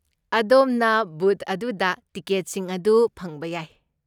ꯑꯗꯣꯝꯅ ꯕꯨꯊ ꯑꯗꯨꯗ ꯇꯤꯀꯦꯠꯁꯤꯡ ꯑꯗꯨ ꯐꯪꯕ ꯌꯥꯏ꯫